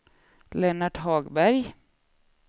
Lennart Hagberg